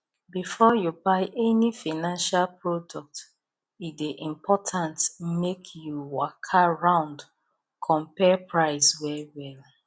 before you buy any financial product e dey important make you waka round compare price well well